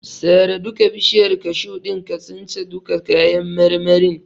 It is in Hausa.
Sare duka bishiyar kashu din ka since duka kayan marmarin.